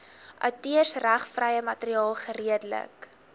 outeursregvrye materiaal geredelik